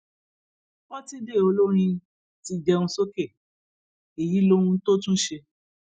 pọtidé olórin ti jẹun sókè èyí lohun tó tún ṣe